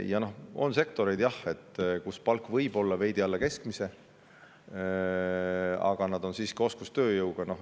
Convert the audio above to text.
Jah, on sektoreid, kus palk võib olla veidi alla keskmise, aga nad nõuavad siiski oskustööjõudu.